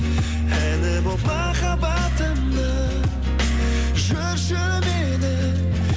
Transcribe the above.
әні болып махаббатымның жүрші менің